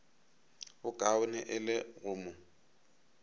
bokaone e le go mo